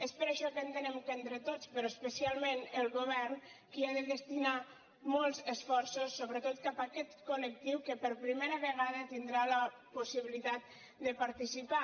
és per això que entenem que és entre tots però especialment el govern qui ha de destinar molts esforços sobretot cap a aquest col·tindrà la possibilitat de participar